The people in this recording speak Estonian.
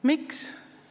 Miks?